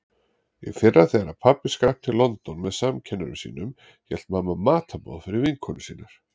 Í fyrra þegar pabbi skrapp til London með samkennurum sínum hélt mamma matarboð fyrir vinkonur sínar.